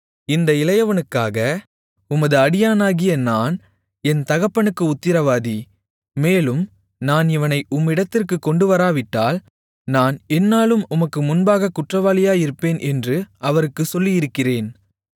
இந்த இளையவனுக்காக உமது அடியானாகிய நான் என் தகப்பனுக்கு உத்திரவாதி மேலும் நான் இவனை உம்மிடத்திற்குக் கொண்டுவராவிட்டால் நான் எந்நாளும் உமக்கு முன்பாகக் குற்றவாளியாயிருப்பேன் என்று அவருக்குச் சொல்லியிருக்கிறேன்